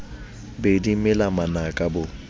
be di mela manaka bo